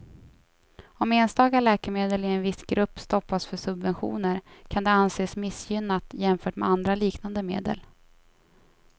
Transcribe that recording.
Om enstaka läkemedel i en viss grupp stoppas för subventioner kan det anses missgynnat jämfört med andra liknande medel.